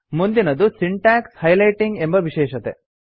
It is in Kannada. ಮುಂದಿನದು ಸಿಂಟಾಕ್ಸ್ ಹೈಲೈಟಿಂಗ್ ಎಂಬ ವಿಶೇಷತೆ